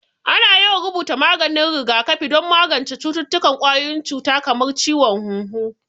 Ana yawan rubuta maganin rigakafi don magance cututtukan ƙwayoyin cuta kamar ciwon hunhu